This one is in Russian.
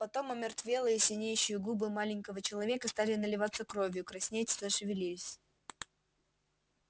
потом омертвелые синеющие губы маленького человека стали наливаться кровью краснеть зашевелились